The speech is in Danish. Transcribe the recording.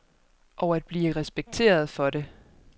Og at blive respekteret for det.